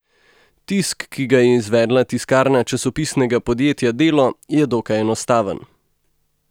Tisk , ki ga je izvedla tiskarna Časopisnega podjetja Delo, je dokaj enostaven.